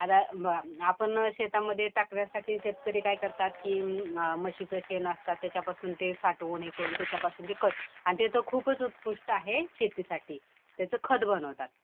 आता आपण शेतामध्ये टाकण्यासाठी शेतकरी काय करतात कि म्हशीचं शेण असतं त्याच्यापासून ते साठवून हे करून त्याच्यापासून ते करतात. आणि ते तर खूपच उत्कृष्ट आहे शेतीसाठी. त्याच खत बनवतात.